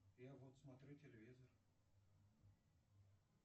я вот смотрю телевизор